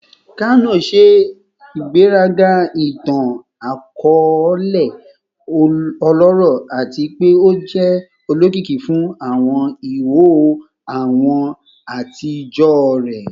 Kano ṣe igberaga itan-akọọlẹ ọlọrọ ati pe o jẹ olokiki fun awọn iho awọ atijọ rẹ